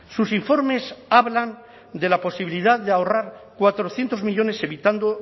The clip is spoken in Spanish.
sus informes hablan de la posibilidad de ahorrar cuatrocientos millónes evitando